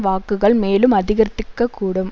வாக்குகள் மேலும் அதிகரித்திக்கக் கூடும்